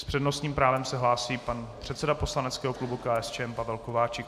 S přednostním právem se hlásí pan předseda poslaneckého klubu KSČM Pavel Kováčik.